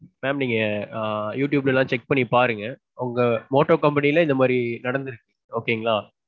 mam நீங்க ஆ youtube ல லாம் பாருங்க, உங்க Motto company ல இந்த மாதிரி நடந்திருக்கு okay ங்களா?